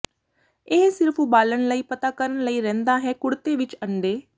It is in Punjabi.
ਇਹ ਸਿਰਫ ਉਬਾਲਣ ਲਈ ਪਤਾ ਕਰਨ ਲਈ ਰਹਿੰਦਾ ਹੈ ਕੁੜਤੇ ਵਿੱਚ ਅੰਡੇ